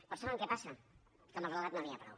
però saben què passa que amb el relat no n’hi ha prou